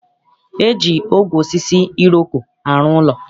E ji ogwe osisi iroko arụ ụlọ.